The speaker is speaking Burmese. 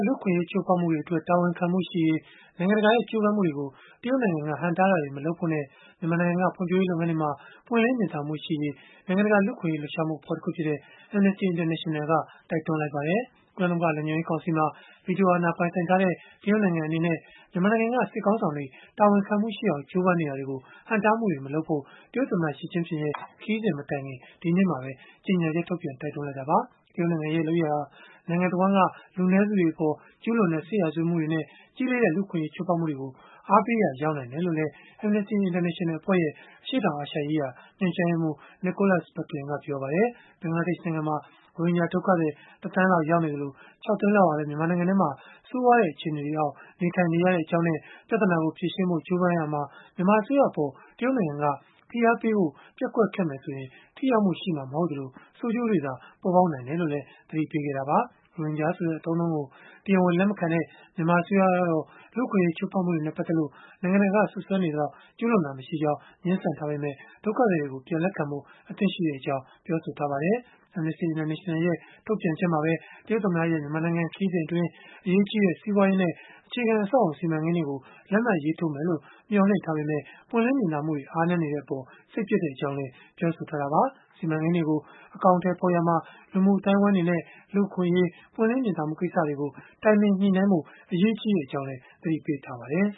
လူ့အခွင့်အရေး ချိုးဖောက်မှုတွေအတွက် တာဝန်ခံမှုရှိရေး နိုင်ငံတကာရဲ့ ကြိုးပမ်းမှုတွေကို တရုတ်နိုင်ငံက ဟန့်တားတာတွေ မလုပ်ဖို့နဲ့ မြန်မာနိုင်ငံက ဖွံ့ဖြိုးရေး လုပ်ငန်းတွေမှာ ပွင့်လင်းမြင်သာမှုရှိရေး နိုင်ငံတကာ လူ့အခွင့်အရေး လှုပ်ရှားမှုအဖွဲ့တခုဖြစ်တဲ့ Amnesty International က တိုက်တွန်းလိုက်ပါတယ်။ ကုလသမဂ္ဂ လုံခြုံရေးကောင်စီမှာ ဗီတိုအာဏာ ပိုင်ဆိုင်ထားတဲ့ တရုတ်နိုင်ငံအနေနဲ့ မြန်မာနိုင်ငံက စစ်ခေါင်းဆောင်တွေ တာဝန်ခံမှုရှိအောင် ကြိုးပမ်းနေတာတွေကို ဟန့်တားမှုတွေ မလုပ်ဖို့ တရုတ်သမ္မတ Xi Jinping ရဲ့ ခရီးစဉ်မတိုင်ခင် ဒီနေ့မှာပဲ ကြေညာချက်ထုတ်ပြန် တိုက်တွန်းလိုက်တာပါ။ တရုတ်နိုင်ငံရဲ့ လုပ်ရပ်ဟာ နိုင်ငံတဝှမ်းက လူနည်းစုတွေအပေါ် ကျုးလွန်တဲ့ စစ်ရာဇဝတ်မှုတွေနဲ့ ကြီးလေးတဲ့ လူ့အခွင့်အရေး ချိုးဖောက်မှုတွေကို အားပေးရာ ရောက်နိုင်တယ်လို့လည်း Amnesty International အဖွဲ့ရဲ့ အရှေ့တောင်အာရှရေးရာ ညွှန်ကြားရေးမှူး Nicholas Bequelin က ပြောပါတယ်။ ဘင်္ဂလားဒေ့ရှ်နိုင်ငံမှာ ရိုဟင်ဂျာ ဒုက္ခသည် တသန်းလောက် ရောက်နေသလို၊ ၆ သိန်းလောက်ဟာလည်း မြန်မာနိုင်ငံထဲမှာ ဆိုးရွားတဲ့ အခြေအနေတွေအောက် နေထိုင်နေရကြောင်းနဲ့ ပြဿနာကို ဖြေရှင်းဖို့ ကြိုးပမ်းရာမှာ မြန်မာအစိုးရအပေါ် တရုတ်နိုင်ငံက ဖိအားပေးဖို့ ပျက်ကွက်ခဲ့မယ်ဆိုရင် ထိရောက်မှုရှိမှာမဟုတ်သလို ဆိုးကျိုးတွေသာ ပေါ်ပေါက်နိုင်တယ်လို့လည်း သတိပေးခဲ့တာပါ။ ရိုဟင်ဂျာဆိုတဲ့ အသုံးအနှုန်းကို တရားဝင် လက်မခံတဲ့ မြန်မာအစိုးရကတော့ လူ့အခွင့်အရေး ချိုးဖောက်မှုတွေနဲ့ ပတ်သက်လို့ နိုင်ငံတကာက စွပ်စွဲနေသလောက် ကျုးလွန်ခဲ့တာ မရှိကြောင်း ငြင်းဆန်ထားပေမဲ့ ဒုက္ခသည်တွေကို ပြန်လက်ခံဖို့ အသင့်ရှိကြောင်း ပြောဆိုထားပါတယ်။ Amnesty International ရဲ့ ထုတ်ပြန်ချက်မှာပဲ တရုတ်သမ္မတရဲ့ မြန်မာနိုင်ငံခရီးစဉ်အတွင်း အရေးကြီးတဲ့ စီးပွားရေးနဲ့ အခြေခံအဆောက်အအုံ စီမံကိန်းတွေကို လက်မှတ်ရေးထိုးမယ်လို့ မျှော်လင့်ထားပေမဲ့ ပွင့်လင်းမြင်သာမှုတွေ အားနည်းနေတဲ့အပေါ် စိတ်ပျက်ကြောင်းလည်း ပြောဆိုထားတာပါ။ စီမံကိန်းတွေကို အကောင်အထည်ဖော်ရာမှာ လူမှုအသိုင်းအဝန်းတွေနဲ့ လူ့အခွင့်အရေး၊ ပွင့်လင်းမြင်သာမှုကိစ္စတွေကို တိုင်ပင်ညှိနှိုင်းဖို့ အရေးကြီးကြောင်းလည်း သတိပေးထားပါတယ်